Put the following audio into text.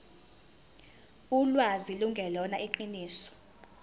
ulwazi lungelona iqiniso